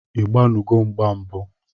Ị gbanugo mgba mbụ?